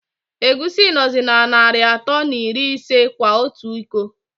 Egwusi nọzi na Nari atọ na iri ise kwa ọtụ ịkọ.